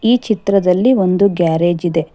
ಈ ಚಿತ್ರದಲ್ಲಿ ಒಂದು ಗ್ಯಾರೇಜ್ ಇದೆ.